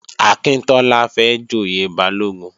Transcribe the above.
Akíntọ́lá fẹ́ joyè Balógun